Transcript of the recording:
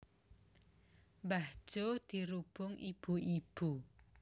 Mbah Jo dirubung ibu ibu